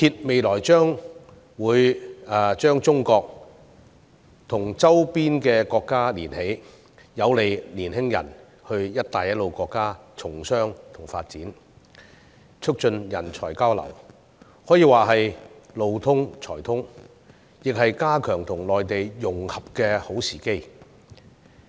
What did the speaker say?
未來高鐵會將中國和周邊國家連接起來，有利年輕人前赴"一帶一路"國家從商和發展，促進人才交流，可以說是"路通才通"，亦是加強跟內地融合的好時機。